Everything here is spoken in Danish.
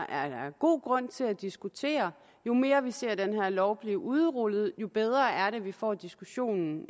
er god grund til at diskutere jo mere vi ser den her lov blive udrullet jo bedre er det at vi får diskussionen